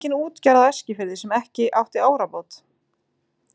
Það var engin útgerð á Eskifirði sem ekki átti árabát.